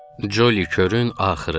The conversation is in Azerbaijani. Ccoli körün axırı.